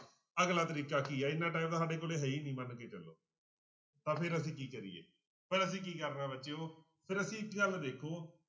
ਅਗਲਾ ਤਰੀਕਾ ਕੀ ਹੈ ਇੰਨਾ time ਤਾਂ ਸਾਡੇ ਕੋਲ ਹੈ ਹੀ ਨੀ ਮੰਨ ਕੇ ਚੱਲੋ ਤਾਂ ਫਿਰ ਅਸੀਂ ਕੀ ਕਰੀਏ ਫਿਰ ਅਸੀਂ ਕੀ ਕਰਨਾ ਬੱਚਿਓ, ਫਿਰ ਅਸੀਂ ਇੱਕ ਗੱਲ ਦੇਖੋ